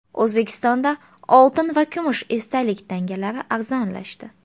O‘zbekistonda oltin va kumush esdalik tangalar arzonlashdi.